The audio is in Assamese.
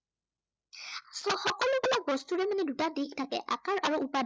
সকলো বিলাক বস্তুৰে কিন্তু দুটা দিশ থাকে। আকাৰ আৰু উপাদান।